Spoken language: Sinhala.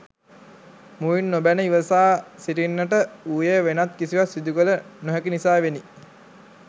මුවින් නොබැන ඉවසා සිටින්නට වුයේ වෙනත් කිසිවක් සිදු කළ නොහැකි නිසාවෙනි.